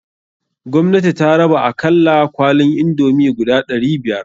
Gwamnati ta raba akalla kwalin indomie guda ɗari biyar.